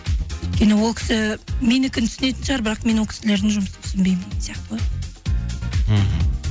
өйткені ол кісі менікін түсінетін шығар бірақ мен ол кісілердің жұмысын түсінбеймін деген сияқты ғой мхм